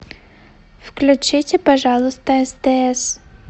включите пожалуйста стс